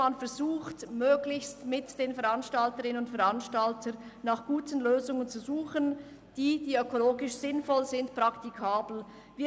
Man versuche, möglichst mit den Veranstalterinnen und Veranstaltern nach guten Lösungen zu suchen, die ökologisch sinnvoll und praktikabel seien.